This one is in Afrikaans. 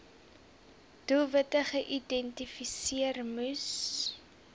doelwitte geïdentifiseer moes